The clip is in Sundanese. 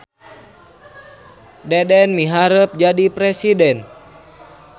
Deden miharep jadi presiden